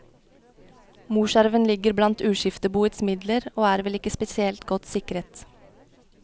Morsarven ligger blant uskifteboets midler, og er vel ikke spesielt godt sikret.